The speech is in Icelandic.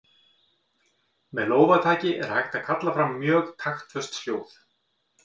Með lófataki er hægt að kalla fram mjög taktföst hljóð.